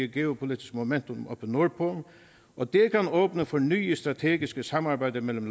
geopolitisk momentum oppe nordpå og det kan åbne for nye strategiske samarbejder mellem